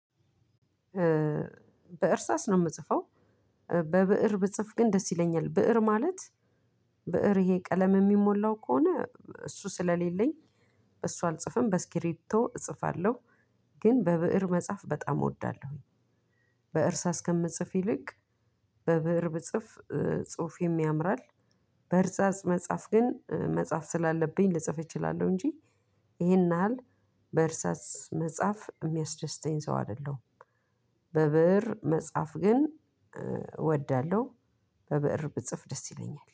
በእርሳስ ነው የምጽፈው። በብእር ብጽፍ ግን ደስ ይለኛል። ብእር ማለት፤ ብእር ይሄ ቀለም የሚሞላው ከሆነ እሱ ስለሌለኝ በሱ አልጽፍም። በስክሪብቶ እጽፋለሁ። ግን በብእር መጻፍ በጣም እወዳለሁኝ። በእርሳ እስከምጽፍ ይልቅ በብእር ብጽፍ ጽሑፈም ያምራል። በእርሳስ መጻፍ ግን መጻፍ ስላለብኝ ልጽፍ እችላለሁ እንጂ ይሄን ያህል በእርሳስ መጻፍ የሚያስደስተኝ ሰው አይደለሁም። በብእር መጻፍ ግን እወዳለሁ። በበእር ብጽፍ ደስ ይለኛል።